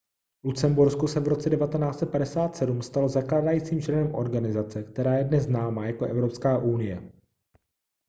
lucembursko se v roce 1957 stalo zakládajícím členem organizace která je dnes známá jako evropská unie